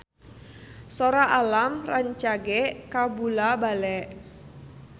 Sora Alam rancage kabula-bale